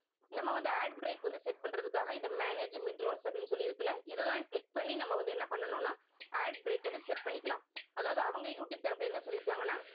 நம்ம வந்து ad break வந்து set பண்றதுக்காக இந்த manage அப்படின்னு சொல்லி இருக்குல்ல. இதைதான் click பண்ணி நம்ம வந்து என்ன பண்ணணும்ன்னா ad break வந்து set பண்ணிக்கலாம். அதாவது அவங்க யூடியூப் தரப்பிலே என்ன சொல்லிருக்காங்கன்னா